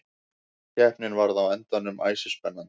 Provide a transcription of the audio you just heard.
Keppnin varð á endanum æsispennandi.